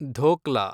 dhokla